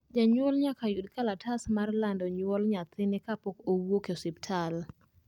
Janyuol nyaka yud kalatas mar lando nyuol nyathine kapok owuok e osiptal